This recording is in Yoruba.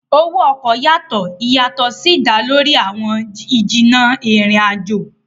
owó oko yàtọ, ìyàtò sí dá lórí àwọn ijinna ìrìn ajọ